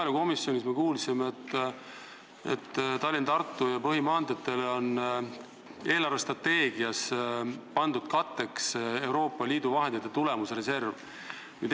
Maaelukomisjonis me kuulsime, et Tallinna–Tartu ja põhimaanteede ehitusel on eelarvestrateegias katteks pandud Euroopa Liidu vahendite tulemusreserv.